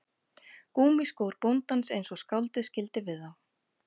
Gúmmískór bóndans eins og skáldið skildi við þá